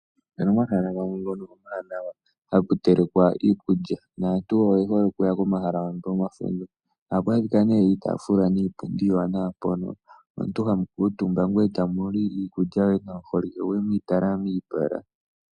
Opuna omahala gamwe ngono omawanawa haku telekwa iikulya, naantu oyehole okuya komahala ngano, ohaku adhikwa ne iitaafula niipundi iiwanawa, mpono omuntu hamu kuutumba ngoye tamu li iikulya yoye nomuholike goye mwiitala miipala.